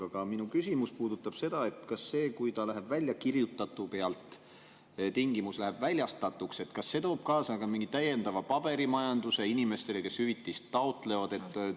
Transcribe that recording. Aga minu küsimus puudutab seda, et kas see, kui tingimus läheb "väljakirjutatu" pealt "väljastatuks", toob kaasa ka mingi täiendava paberimajanduse inimestele, kes hüvitist taotlevad.